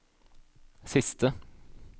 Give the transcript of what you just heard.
siste